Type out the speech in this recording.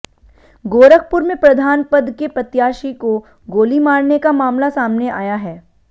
गोरखपुर में प्रधान पद के प्रत्याशी को गोली मारने का मामला सामने आया है